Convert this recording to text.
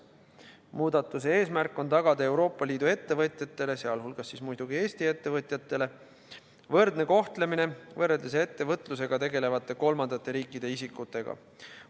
Muudatuse eesmärk on tagada Euroopa Liidu ettevõtjatele, sh muidugi Eesti ettevõtjatele, võrdne kohtlemine võrreldes ettevõtlusega tegelevate kolmandate riikide isikutega.